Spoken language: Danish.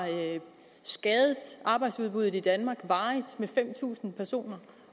skadet arbejdsudbuddet i danmark med fem tusind personer